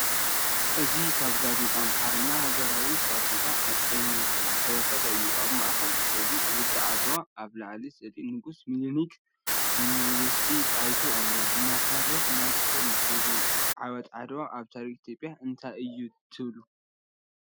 እዚ ካብ ጋዜጣ ኣምሓርኛ “ሃገራዊ ጋዜጣ ኤሜኮ” ዝተወስደ እዩ። ኣብ ማእኸል ስእሊ ውግእ ዓድዋ፣ ኣብ ላዕሊ ስእሊ ንጉስ ሚኒሊክን ንግስቲ ጣይቱ ኣሎ። ብመሰረት ናትኩም ትርጉም ዓወት ዓድዋ ኣብ ታሪኽ ኢትዮጵያ እንታይ እዩ ትብሉ?